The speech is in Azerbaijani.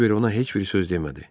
Kiber ona heç bir söz demədi.